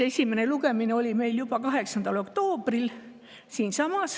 Esimene lugemine oli meil juba 8. oktoobril.